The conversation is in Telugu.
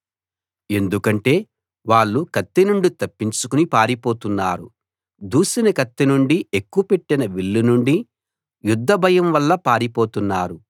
ఎందుకంటే వాళ్ళు కత్తినుండి తప్పించుకుని పారిపోతున్నారు దూసిన కత్తి నుండీ ఎక్కు పెట్టిన విల్లు నుండీ యుద్ధ భయం వల్లా పారిపోతున్నారు